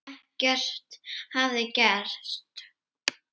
Ekkert hafi gerst.